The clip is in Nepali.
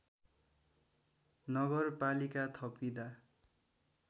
नगरपालिका थपिँदा